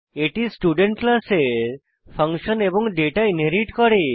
এটি স্টুডেন্ট ক্লাসের ফাংশন এবং ডেটা ইনহেরিট করে